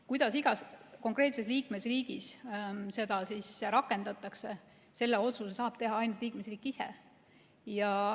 Kuidas igas konkreetses liikmesriigis seda rakendatakse, selle otsuse saab teha ainult liikmesriik ise.